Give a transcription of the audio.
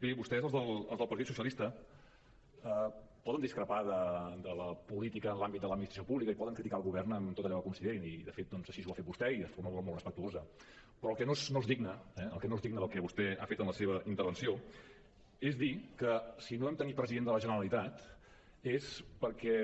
bé vostès els del partit socialista poden discrepar de la política en l’àmbit de l’administració pública i poden criticar el govern en tot allò que considerin i de fet doncs així ho ha fet vostè i de forma molt respectuosa però el que no és digne eh el que no és digne del que vostè ha fet en la seva intervenció és dir que si no vam tenir president de la generalitat és perquè